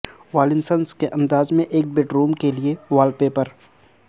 والنسنس کے انداز میں ایک بیڈروم کے لئے وال پیپر